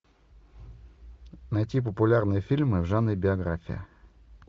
найти популярные фильмы в жанре биография